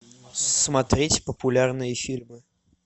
смотреть популярные фильмы